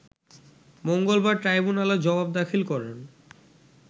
মঙ্গলবার ট্রাইব্যুনালে জবাব দাখিল করেন